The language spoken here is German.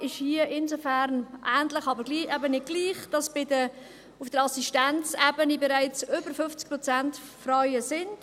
Die Ausgangslage ist hier insofern ähnlich, aber eben nicht gleich, als auf der Assistenzebene bereits über 50 Prozent Frauen tätig sind.